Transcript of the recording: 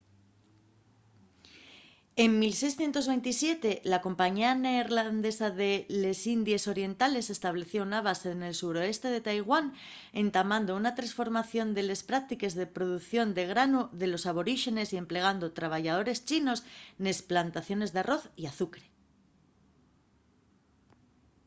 en 1627 la compañía neerlandesa de les indies orientales estableció una base nel suroeste de taiwán entamando una tresformación de les práctiques de producción de granu de los aboríxenes y emplegando trabayadores chinos nes plantaciones d’arroz y azucre